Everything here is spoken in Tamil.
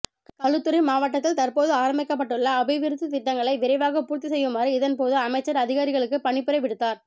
களுத்துறை மாவட்டத்தில் தற்போது ஆரம்பிக்கப்பட்டுள்ள அபிவிருத்தி திட்டங்களை விரைவாக பூர்த்தி செய்யுமாறு இதன் போது அமைச்சர் அதிகாரிகளுக்கு பணிப்புரை விடுத்தார்